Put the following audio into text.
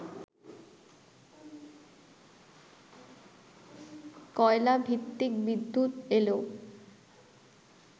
কয়লাভিত্তিক বিদ্যুৎ এলেও